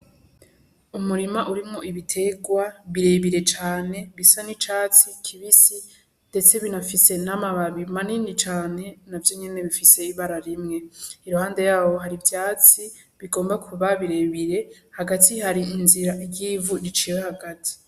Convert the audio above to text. Umurima urimwo ibiterwa birebire cane, bisa n'icatsi kibisi, ndetse binafise n'amababi manini cane, navyo nyene bifise ibara rimwe. Iruhande y'aho hari ivyatsi bigomba kuba birebire. Hagati hari inzira ry'ivu riciye hagati.